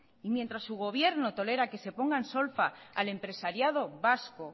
mientras su gobierno tolera que se ponga en solfa al empresariado vasco